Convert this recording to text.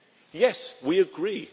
Yes, we agree